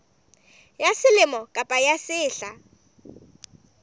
ya selemo kapa ya sehla